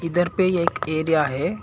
इधर पे एक एरिया है।